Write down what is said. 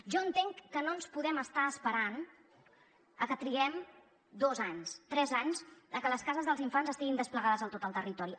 jo entenc que no ens podem estar esperant a que triguem dos anys tres anys a que les cases dels infants estiguin desplegades a tot el territori